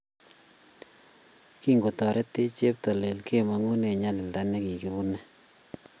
Kigotoretech cheptailel kemangu eng nyalilda negigibune